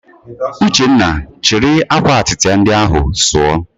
Uchenna, chịrị akwa atịtị ndị ahụ sụọ!